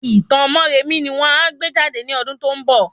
Itan Móremí ni won a gbé jade ní ọdún tó ń bọ̀